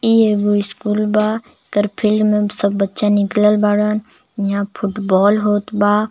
इ एगो स्कूल बा एकर फील्ड में सब बच्चा निकलल बाड़न इहा फुटबाल होत बा.